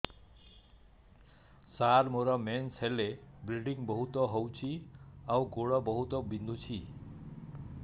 ସାର ମୋର ମେନ୍ସେସ ହେଲେ ବ୍ଲିଡ଼ିଙ୍ଗ ବହୁତ ହଉଚି ଆଉ ଗୋଡ ବହୁତ ବିନ୍ଧୁଚି